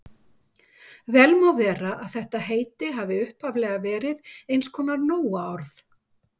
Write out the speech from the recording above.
Vel má vera að þetta heiti hafi upphaflega verið eins konar nóaorð.